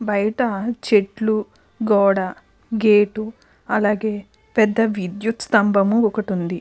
బయట చెట్లు గోడ గేటు అలాగే పెద్ధ విద్యుత్ స్తంభము ఒకటి ఉంది.